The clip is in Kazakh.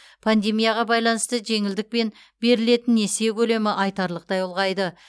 пандемияға байланысты жеңілдікпен берілетін несие көлемі айтарлықтай ұлғайды